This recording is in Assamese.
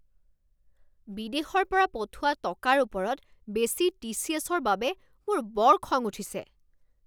বিদেশৰ পৰা পঠোৱা টকাৰ ওপৰত বেছি টিচিএছ ৰ বাবে মোৰ বৰ খং উঠিছে।